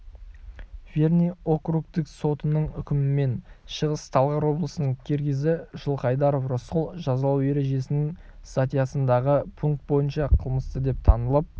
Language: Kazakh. верный округтік сотының үкімімен шығыс-талғар облысының киргизі жылқайдаров рысқұл жазалау ережесінің статьясындағы пункт бойынша қылмысты деп танылып